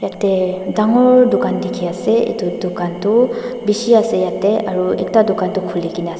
ete dangor dukan dikhiase edu dukan toh bishi ase yatae aro ekta dukan toh khulikaena ase.